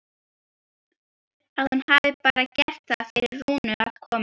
Að hún hafi bara gert það fyrir Rúnu að koma.